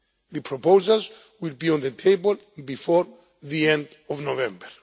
The proposals will be on the table before the end of November.